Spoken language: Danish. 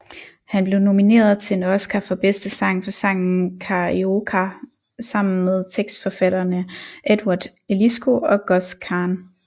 Han blev nomineret til en Oscar for bedste sang for sangen Carioca sammen med tekstforfatterne Edward Eliscu og Gus Kahn